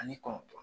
Ani kɔnɔntɔn